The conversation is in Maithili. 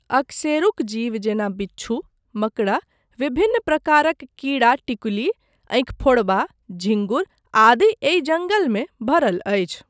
अकशेरुक जीव जेना बिच्छू, मकड़ा, विभिन्न प्रकारक कीड़ा टिकुली, अंखिफोड़वा, झिंगुर आदि एहि जङ्गलमे भरल अछि।